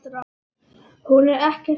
Hún er ekkert barn.